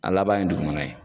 A laban ye dugumana ye.